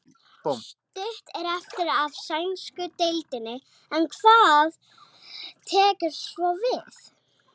Stutt er eftir af sænsku deildinni en hvað tekur svo við?